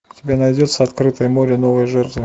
у тебя найдется открытое море новые жертвы